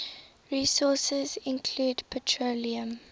resources include petroleum